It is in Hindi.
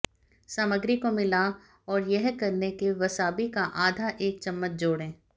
सामग्री को मिला और यह करने के वसाबी का आधा एक चम्मच जोड़ें